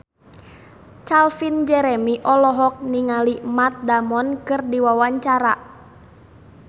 Calvin Jeremy olohok ningali Matt Damon keur diwawancara